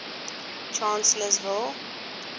chancellorsville